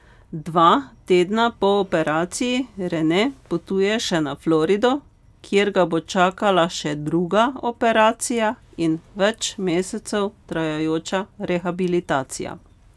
Dva tedna po operaciji Rene potuje še na Florido, kjer ga bo čakala še druga operacija in več mesecev trajajoča rehabilitacija.